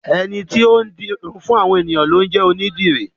Ẹni tó ń di irun fún àwọn ènìyàn ni ó ń jẹ́ onídìrí.